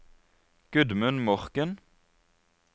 Gudmund Morken